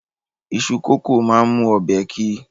Iṣu kókò máa ń mú ọbẹ̀ ki